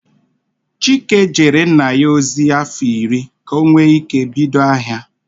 Chike jeere nna ya nwoke ozi afọ irị ka o nwee ike ibido ahia.